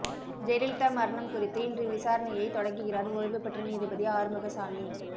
ஜெயலலிதா மரணம் குறித்து இன்று விசாரணையை தொடங்குகிறார் ஓய்வுபெற்ற நீதிபதி ஆறுமுகசாமி